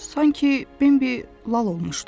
Sanki Bimbi lal olmuşdu.